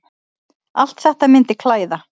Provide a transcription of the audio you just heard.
Allt þetta myndi klæða